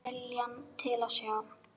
Skortir viljann til að sjá.